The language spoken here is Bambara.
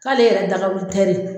K'ale yɛrɛ dagawuli tɛri